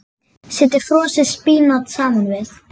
Setjið frosið spínat saman við.